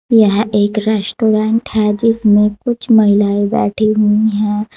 यह एक रेस्टोरेंट है जिसमें कुछ महिलाएं बैठी हुई हैं।